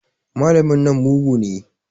Malamin nan mugu ne.